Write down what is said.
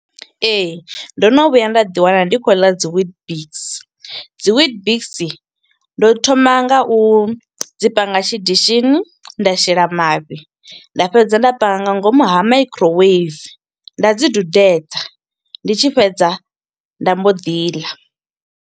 Ee, ndo no vhuya nda ḓi wana, ndi khou ḽa dzi witbix. Dzi witbix, ndo thoma nga u dzi panga tshidishini nda shela mafhi, nda fhedza nda panga nga ngomu ha makhiroweivini, nda dzi dudedza. Ndi tshi fhedza, nda mbo ḓi ḽa.